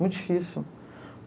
Muito difícil.